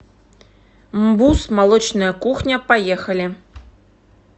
мбуз молочная кухня поехали